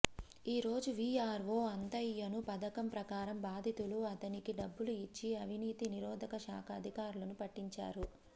ఈరోజు విఆర్ఓ అంతయ్యను పథకం ప్రకారం బాధితులు అతనికి డబ్బులు ఇచ్చి అవినీతి నిరోధక శాఖ అధికారులకు పట్టించారు